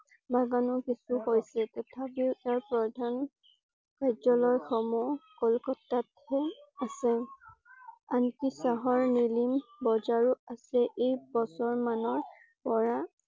বাগানো কিছু হৈছে তথাপিও ইয়াৰ প্ৰধান কাৰ্য্যালয় সমূহ কলিকতাত হে আছে । আনকি চহৰ বজাৰো আছে এই বছৰ মানৰ পৰা